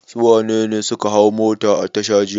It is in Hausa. Su wane ne suka hau mota a tasha jiya?